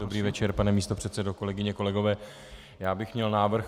Dobrý večer, pane místopředsedo, kolegyně, kolegové, já bych měl návrh.